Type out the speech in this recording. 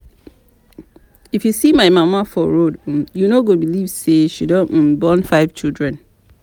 If you see my mama for road um you no go believe say she don um born five children